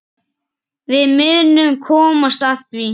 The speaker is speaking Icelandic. Við munum komast að því.